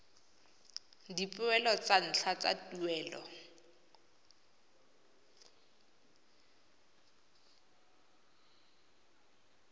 dipoelo tsa ntlha tsa tuelo